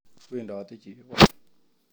Wedote chebon